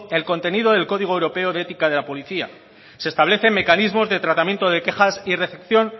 el contenido del código europeo de ética de la policía se establecen mecanismos de tratamiento de quejas y recepción